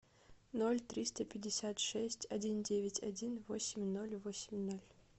ноль триста пятьдесят шесть один девять один восемь ноль восемь ноль